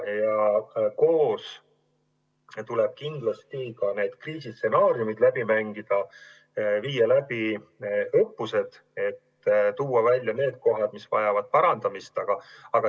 Ja koos tuleb kindlasti ka kriisistsenaariumid läbi mängida, viia läbi õppused, et teha selgeks need kohad, mis vajavad parandamist.